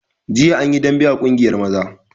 Jiya an yi dambe a ƙungiyar maza